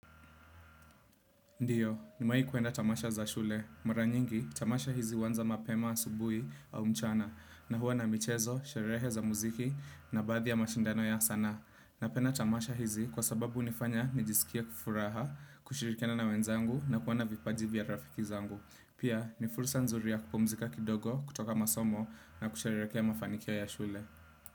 Ndiyo, nimewaii kuenda tamasha za shule. Mara nyingi, tamasha hizi huanza mapema asubuhi au mchana, na huwa na mchezo, sherehe za muziki, na baathi ya mashindano ya zanaha. Napenda tamasha hizi, kwa sababu hunifanya nijisikie kufuraha, kushirikiana na wenzangu na kuwa na vipaji vya rafiki zangu. Pia, ni fursa nzuri ya kupumzika kidogo kutoka masomo na kusherekea mafanikio ya shule.